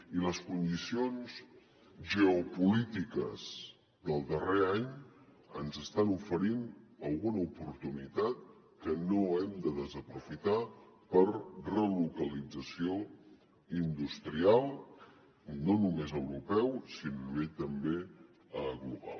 i les condicions geopolítiques del darrer any ens estan oferint alguna oportunitat que no hem de desaprofitar per relocalització industrial no només a nivell europeu sinó a nivell també global